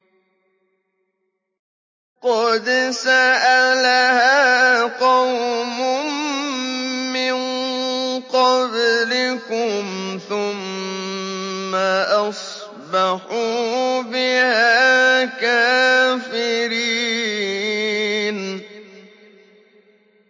قَدْ سَأَلَهَا قَوْمٌ مِّن قَبْلِكُمْ ثُمَّ أَصْبَحُوا بِهَا كَافِرِينَ